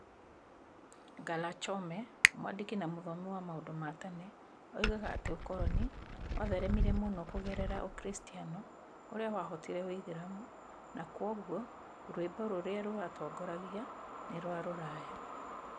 Ngala Chome, mwandĩki na mũthomi wa maũndu ma tene, oigaga atĩ ũkoroni watheeremire mũno kũgerera ũkristiano ũrĩa wahootire ũithĩramu na kwoguo rwimbo rũrĩa rwatongoragia nĩ rwa rũraya.